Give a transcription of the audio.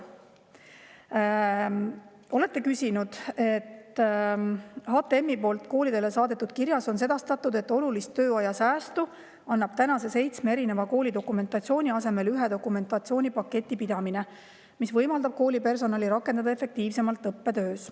Olete küsinud: "HTMi poolt koolidele saadetud kirjas on sedastatud, et olulist tööaja säästu annab tänase seitsme erineva kooli dokumentatsiooni asemel ühe dokumentatsiooni paketi pidamine, mis võimaldab kooli personali rakendada efektiivsemalt õppetöös.